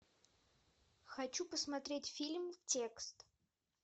хочу посмотреть фильм текст